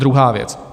Druhá věc.